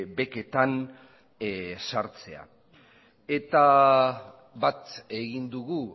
beketan sartzea eta bat egin dugu